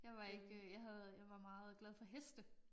Jeg var ikke øh jeg havde jeg var meget glad for heste